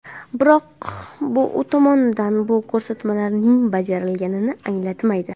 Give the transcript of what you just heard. Biroq, bu u tomonidan bu ko‘rsatmalarining bajarilganini anglatmaydi.